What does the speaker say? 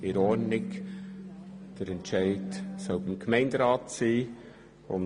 der Entscheid soll beim Gemeinderat liegen.